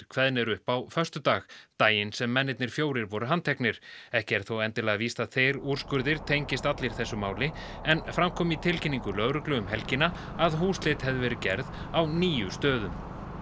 kveðnir upp á föstudag daginn sem mennirnir fjórir voru handteknir ekki er þó endilega víst að þeir úrskurðir tengist allir þessu máli en fram kom í tilkynningu lögreglu um helgina að húsleit hefði verið gerð á níu stöðum